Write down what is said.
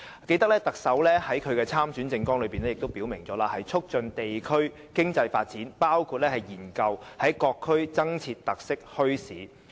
記得特首在參選政綱中，也曾表明會"促進地區經濟發展，包括研究在各區增設特色墟市"。